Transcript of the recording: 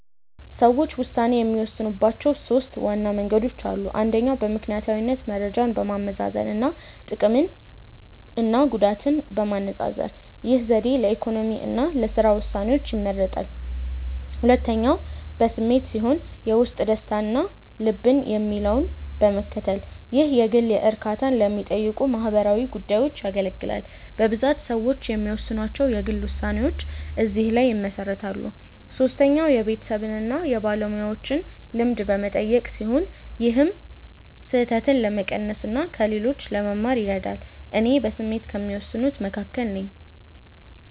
ሰዎች ውሳኔ የሚወስኑባቸው ሦስት ዋና መንገዶች አሉ። አንደኛው በምክንያታዊነት መረጃን በማመዛዘን እና ጥቅምና ጉዳትን በማነፃፀር። ይህ ዘዴ ለኢኮኖሚ እና ለሥራ ውሳኔዎች ይመረጣል። ሁለተኛው በስሜት ሲሆን የውስጥ ደስታን እና ልብ የሚለውን በመከተል። ይህ የግል እርካታን ለሚጠይቁ ማህበራዊ ጉዳዮች ያገለግላል። በብዛት ሰዎች የሚወስኗቸው የግል ውሳኔዎች እዚህ ላይ ይመሰረታሉ። ሶስተኛው የቤተሰብን እና የባለሙያዎችን ልምድ በመጠቀም ሲሆን ይህም ስህተትን ለመቀነስ እና ከሌሎች ለመማር ይረዳል። እኔ በስሜት ከሚወስኑት መካከል ነኝ።